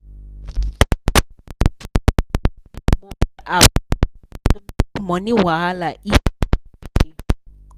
ap money wahala eas